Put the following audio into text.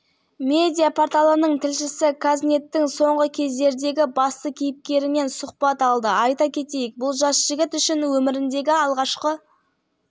сіздің парақшаңызға кіргендегі әр адамның ойына келетінсұрақтан бастағым келіп отыр бұның бәрі сізге не үшін керек